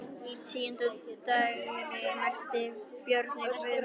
Á tíunda dægri mælti Björn við Guðmund: